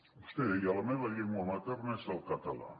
vostè deia la meva llengua materna és el català